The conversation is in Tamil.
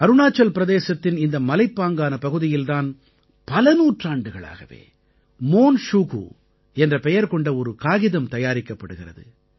அருணாச்சல் பிரதேசத்தின் இந்த மலைப்பாங்கான பகுதியில் தான் பல நூற்றாண்டுகளாகவே மோன் ஷுகு என்ற பெயர் கொண்ட ஒரு காகிதம் தயாரிக்கப்படுகிறது